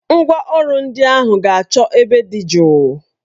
Ngwa ọrụ ndị ahụ ga-achọ ebe dị jụụ